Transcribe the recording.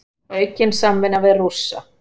Aukin samvinna við Rússa